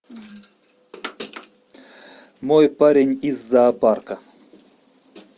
мой парень из зоопарка